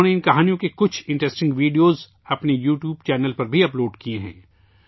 انہوں نے ان کہانیوں کے کچھ دلچسپ ویڈیو اپنے یوٹیوب چینل پر بھی اپ لوڈ کیے ہیں